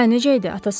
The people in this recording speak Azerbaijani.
Hə, necə idi?